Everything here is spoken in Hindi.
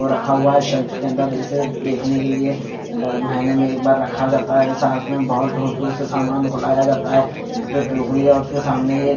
और रखा हुआ है सेल्फ के अंदर इसे देखने के लिए महीने में एक बार रखा जाता है साथ में बहोत दूर से सामान को लाया जाता है यहां पे टोकरी और उसके सामने --